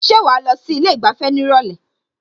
Ṣé wàá lọ sí ilé ìgbafẹ́ ní ìrọ̀lẹ́?